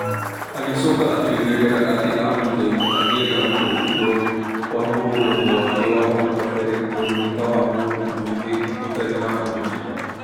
Agĩcoka akĩongerera atĩ amũthaitha agĩe na ũtaũkĩrũo wa mũrũgamo wake wa hau kabere tondũ nĩ ta wa mũndũ mwĩthĩ ũtarĩ na ũmenyeru.